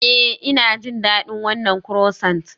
Ee, Ina jin daɗin wannan croissant.